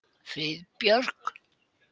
Friðbjörg